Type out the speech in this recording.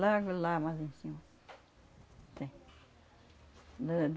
Logo lá, mais em cima, tem.